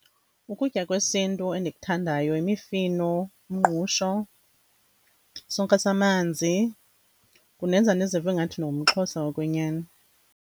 Ukutya kwesintu endikuthandayo yimifino, umngqusho, sonka samanzi, kundenza ndizive ngathi ndingumXhosa wokwenyani.